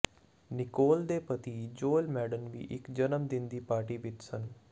Nicole ਦੇ ਪਤੀ Joel Madden ਵੀ ਇਕ ਜਨਮ ਦਿਨ ਦੀ ਪਾਰਟੀ ਵਿਚ ਸਨ